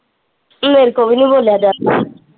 ਮੇਰੇ ਕੋਲ ਵੀ ਨੀ ਬੋਲਿਆ ਜਾਂਦਾ।